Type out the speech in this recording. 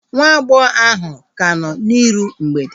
Nwa agbọghọ ahu ka nọ n'iru mgbede